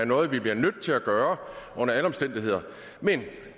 noget vi bliver nødt til at gøre under alle omstændigheder men